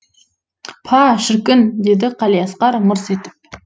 па шіркін деді қалиасқар мырс етіп